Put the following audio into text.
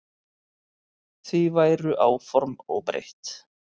Því væru áform óbreytt.